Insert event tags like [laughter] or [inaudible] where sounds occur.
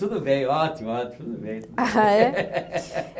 Tudo bem, ótimo, ótimo, tudo bem. ah é [laughs]